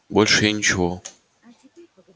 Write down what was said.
больше я ничего